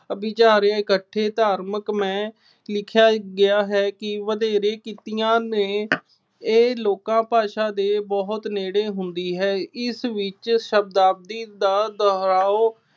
ਇਕੱਠੇ ਧਾਰਮਿਕ ਮੇਂ ਲਿਖਿਆ ਗਿਆ ਹੈ ਕਿ ਵਧੇਰੇ ਕੀਤੀਆਂ ਨੇ ਇਹ ਲੋਕਾਂ ਭਾਸ਼ਾ ਦੇ ਬਹੁਤ ਨੇੜੇ ਹੁੰਦੀ ਹੈ। ਇਸ ਵਿੱਚ ਸ਼ਬਦਾਵਲੀ ਦਾ ਦੁਹਰਾਓ